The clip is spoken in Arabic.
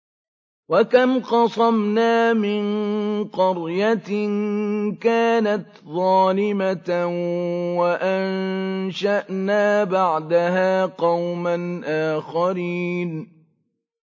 وَكَمْ قَصَمْنَا مِن قَرْيَةٍ كَانَتْ ظَالِمَةً وَأَنشَأْنَا بَعْدَهَا قَوْمًا آخَرِينَ